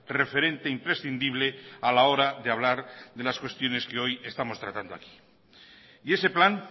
referente imprescindible a la hora de hablar de las cuestiones que hoy estamos tratando aquí y ese plan